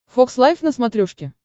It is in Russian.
фокс лайф на смотрешке